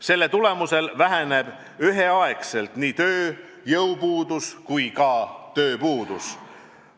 Selle tulemusel vähenevad üheaegselt nii tööjõupuudus kui ka tööpuudus.